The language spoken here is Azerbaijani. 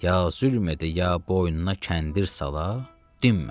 Ya zülm edə, ya boynuna kəndir sala, dinmə.